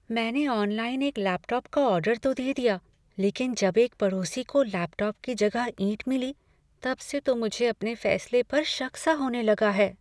मैंने ऑनलाइन एक लैपटॉप का ऑर्डर तो दे दिया, लेकिन जब एक पड़ोसी को लैपटॉप की जगह ईंट मिली, तब से तो मुझे अपने फैसले पर शक सा होने लगा है।